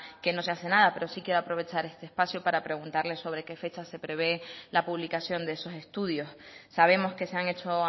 que no se hace nada pero sí quiero aprovechar este espacio para preguntarle sobre qué fechas se prevé la publicación de esos estudios sabemos que se han hecho